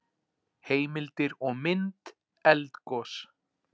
Heimildir og mynd Eldgos.